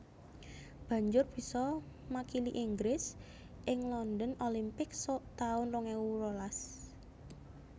Banjur bisa makili Inggris ing London Olympics suk taun rong ewu rolas